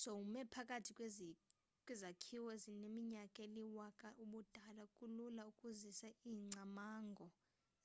sowume phakathi kwezakhiwo ezineminyaka eliwaka-ubudala kulula ukuzisa ingcamango